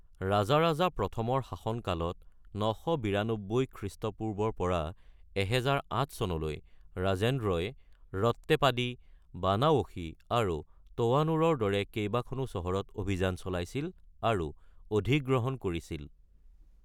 ৰাজাৰাজা প্ৰথমৰ শাসনকালত ৯৯২ খ্ৰীষ্টপূৰ্বৰ পৰা ১০০৮ চনলৈ ৰাজেন্দ্ৰই ৰত্তেপাদি, বানাৱসী আৰু তোৱানুৰৰ দৰে কেইবাখনো চহৰত অভিযান চলাইছিল আৰু অধিগ্ৰহণ কৰিছিল।